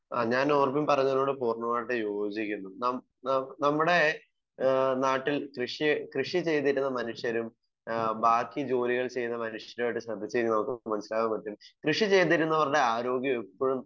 Speaker 1 ആഹ് ഞാൻ Norbin പറഞ്ഞതിനോട് പൂർണ്ണമായും യോജിക്കുന്നു. നാം നാം നമ്മുടെ ഏഹ് നാട്ടിൽ കൃഷി കൃഷി ചെയ്തിരുന്ന മനുഷ്യരും ഏഹ് ബാക്കി ജോലികൾ ചെയ്യുന്ന മനുഷ്യരും ആയിട്ട് ശ്രദ്ധിച്ചു കഴിഞ്ഞാൽ നമുക്ക് മനസ്സിലാക്കാൻ പറ്റും. കൃഷി ചെയ്തിരുന്നവരുടെ ആരോഗ്യം എപ്പഴും,